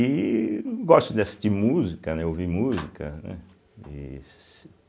E gosto de assistir música, né, ouvir música, né e se.